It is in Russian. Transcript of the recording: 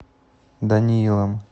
даниилом